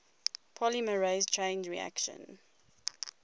polymerase chain reaction